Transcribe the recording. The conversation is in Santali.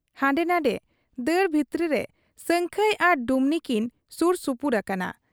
ᱦᱟᱸᱰᱮ ᱱᱷᱟᱸᱰᱮ ᱫᱟᱹᱲ ᱵᱷᱤᱛᱨᱟᱹᱨᱮ ᱥᱟᱹᱝᱠᱷᱟᱹᱭ ᱟᱨ ᱰᱩᱢᱱᱤ ᱠᱤᱱ ᱥᱩᱨ ᱥᱩᱯᱩᱨ ᱟᱠᱟᱱᱟ ᱾